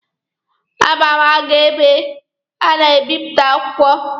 A ma aga ebe a na-ebịpụta akwụkwọ.